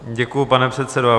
Děkuji, pane předsedo.